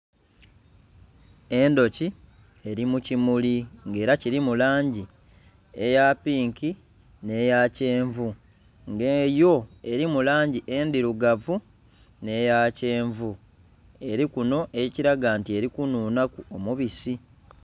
Endhoki eri mu kimuli ng'era kilimu langi eya pinki nh'eya kyenvu. Nga yo elimu langi endhirugavu nh'eya kyenvu eli kunho ekiraga nti eli kunhunhaku omubisi